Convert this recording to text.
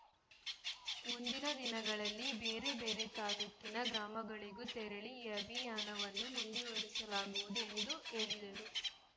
ಮುಂದಿನ ದಿನಗಳಲ್ಲಿ ಬೇರೆ ಬೇರೆ ತಾಲೂಕಿನ ಗ್ರಾಮಗಳಿಗೂ ತೆರಳಿ ಈ ಅಭಿಯಾನವನ್ನು ಮುಂದುವರಿಸಲಾಗುವುದು ಎಂದು ಹೇಳಿದರು